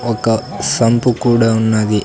ఒక సంపు కూడా ఉన్నది.